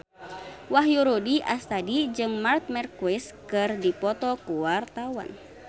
Wahyu Rudi Astadi jeung Marc Marquez keur dipoto ku wartawan